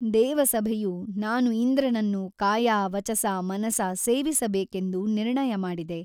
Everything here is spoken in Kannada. ದೇವಸಭೆಯು ನಾನು ಇಂದ್ರನನ್ನು ಕಾಯ ವಚಸಾ ಮನಸಾ ಸೇವಿಸಬೇಕೆಂದು ನಿರ್ಣಯಮಾಡಿದೆ.